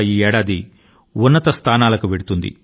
దీనివల్ల దేశం అత్యున్నత శిఖరాల కు చేరుకొంటుంది